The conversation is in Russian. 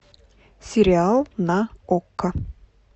сериал на окко